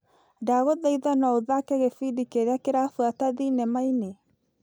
Ndagũthaitha no ũthake gĩbindi kĩrĩa kĩrabuata thinema-inĩ .